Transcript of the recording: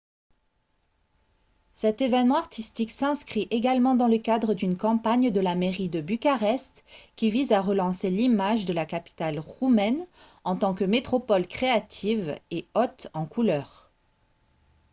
cet événement artistique s'inscrit également dans le cadre d'une campagne de la mairie de bucarest qui vise à relancer l'image de la capitale roumaine en tant que métropole créative et haute en couleur